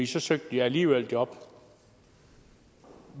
så søgte de alligevel job